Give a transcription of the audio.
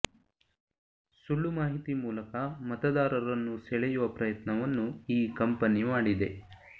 ಸುಳ್ಳು ಮಾಹಿತಿ ಮೂಲಕ ಮತದಾರರನ್ನು ಸೆಳೆಯುವ ಪ್ರಯತ್ನವನ್ನು ಈ ಕಂಪನಿ ಮಾಡಿದೆ